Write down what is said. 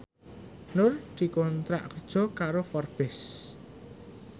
Nur dikontrak kerja karo Forbes